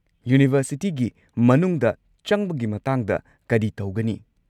ꯌꯨꯅꯤꯚꯔꯁꯤꯇꯤꯒꯤ ꯃꯅꯨꯡꯗ ꯆꯪꯕꯒꯤ ꯃꯇꯥꯡꯗ ꯀꯔꯤ ꯇꯧꯒꯅꯤ?